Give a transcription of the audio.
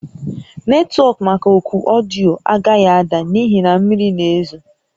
Netwọk maka oku ọdịyo a agaghị ada n'ihi na mmiri na-ezo